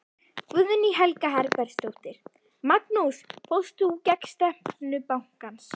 Guðný Helga Herbertsdóttir: Magnús fórst þú gegn stefnu bankans?